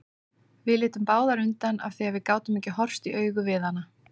Við litum báðar undan af því að við gátum ekki horfst í augu við hana.